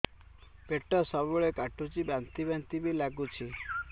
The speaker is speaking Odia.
ପେଟ ସବୁବେଳେ କାଟୁଚି ବାନ୍ତି ବାନ୍ତି ବି ଲାଗୁଛି